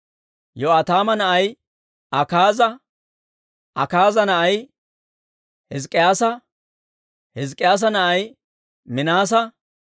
Yo'aataama na'ay Akaaza; Akaaza na'ay Hizk'k'iyaasa; Hizk'k'iyaasa na'ay Minaasa;